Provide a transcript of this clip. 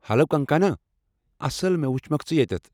Hello Kangana, اصل مےٚ ؤچھمکھ ژٕ ییٚتیتھ۔